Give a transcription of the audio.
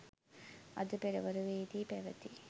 අද පෙරවරුවේදී පැවැති